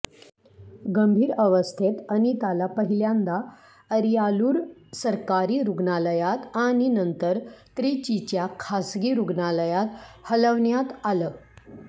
गंभीर अवस्थेत अनिताला पहिल्यांदा अरियालूर सरकारी रुग्णालयात आणि नंतर त्रिचीच्या खासगी रुग्णालयात हलवण्यात आलं